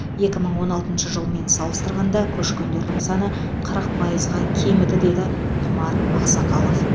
екі мың он алтыншы жылмен салыстырғанда көшкендердің саны қырық пайызға кеміді деді құмар ақсақалов